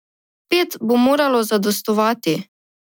Pet bo moralo zadostovati.